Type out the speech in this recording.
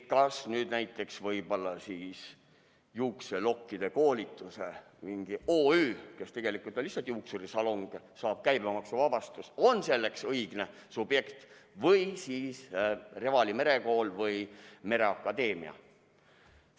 Kui näiteks võib-olla juukselokkide koolituse mingi OÜ, kes tegelikult on lihtsalt juuksurisalong, saab käibemaksuvabastuse, siis kas ta on selleks õige subjekt või oleks see hoopis Revali Merekool või mereakadeemia?